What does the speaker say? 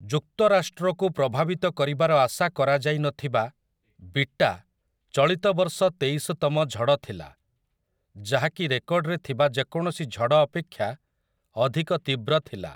ଯୁକ୍ତରାଷ୍ଟ୍ରକୁ ପ୍ରଭାବିତ କରିବାର ଆଶା କରାଯାଇନଥିବା 'ବିଟା' ଚଳିତ ବର୍ଷ ତେଇଶତମ ଝଡ଼ ଥିଲା, ଯାହାକି ରେକର୍ଡରେ ଥିବା ଯେକୌଣସି ଝଡ଼ ଅପେକ୍ଷା ଅଧିକ ତୀବ୍ର ଥିଲା ।